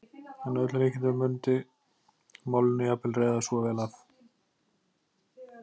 En að öllu líkindum mundi málinu jafnvel reiða svo vel af.